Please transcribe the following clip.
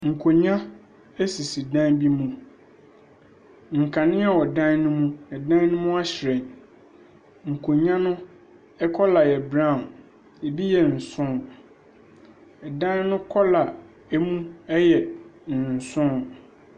Nkonnwa sisi dan bi mu. Nkanea wɔ dan no mu, na dan no mu ahyerɛn. Nkonnwa no kɔla yɛ brown, ɛbi yɛ nson. Ɛdan no kɔla mu yɛ nson.